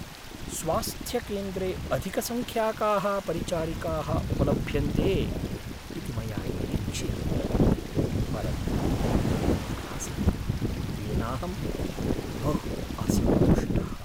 “स्वास्थ्यकेन्द्रे अधिकसङ्ख्याकाः परिचारिकाः उपलभ्यन्ते इति मया निरीक्षितं, परन्तु एवं नासीत्, येनाहं बहु असन्तुष्टः”।